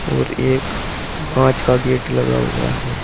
और एक कांच का गेट लगा हुआ है।